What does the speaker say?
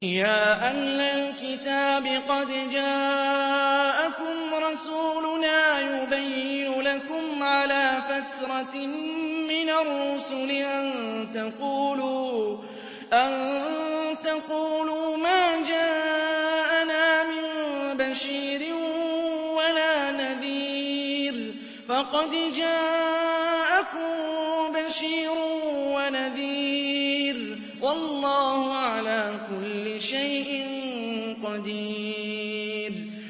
يَا أَهْلَ الْكِتَابِ قَدْ جَاءَكُمْ رَسُولُنَا يُبَيِّنُ لَكُمْ عَلَىٰ فَتْرَةٍ مِّنَ الرُّسُلِ أَن تَقُولُوا مَا جَاءَنَا مِن بَشِيرٍ وَلَا نَذِيرٍ ۖ فَقَدْ جَاءَكُم بَشِيرٌ وَنَذِيرٌ ۗ وَاللَّهُ عَلَىٰ كُلِّ شَيْءٍ قَدِيرٌ